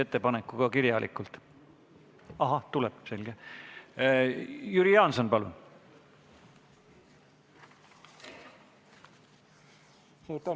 Ettekandjaks palun ma riigikaitsekomisjoni esimehe Andres Metsoja.